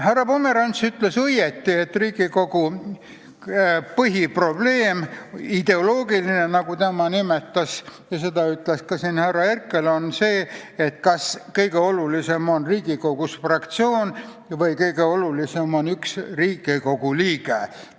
Härra Pomerants ütles õigesti, et Riigikogu põhiprobleem – ideoloogiline, nagu tema nimetas, ja seda ütles ka härra Herkel – on see, kas kõige olulisem on Riigikogus fraktsioon või kõige olulisem on Riigikogu liige.